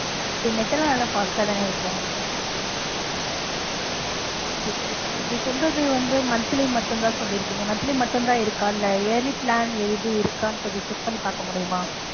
net எல்லாம் நல்லா fast ஆ தான இருக்கும்? okay சரி இப்ப நீங்க சொல்றது வந்து monthly மட்டுந்தான் சொல்லிருக்கீங்க monthly மட்டுந்தான் இருக்கா இல்லை yearly plan ஏதும் இருக்கா கொஞ்சம் check பண்ணி பாக்க முடியுமா?